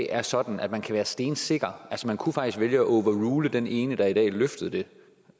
er sådan at man kan være stensikker altså man kunne faktisk vælge at overrule den ene der i dag løftede det